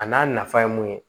A n'a nafa ye mun ye